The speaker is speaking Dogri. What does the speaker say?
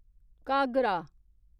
घाघरा